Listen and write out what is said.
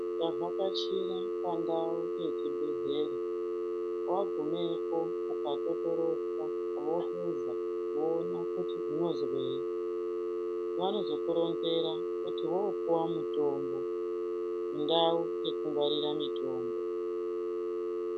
Ukavhakachira pandau yechibhehlera wagumepo ukatotoroswa vohluza voona kuti unozwei vanozokuronzera kuti wopuwa mutombo mundau yekugwarira mutombo.